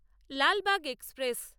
Lalbagh express